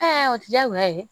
o diyagoya ye